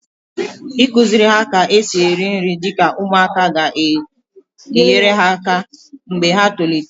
Ịkụziri ha ka-esi esi nri dịka ụmụaka ga enyere ha aka mgbe ha tolite